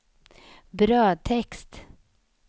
brödtext